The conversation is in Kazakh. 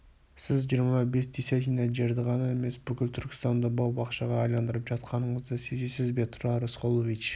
сіз жиырма бес десятина жерді ғана емес бүкіл түркістанды бау-бақшаға айналдырып жатқаныңызды сезесіз бе тұрар рысқұлович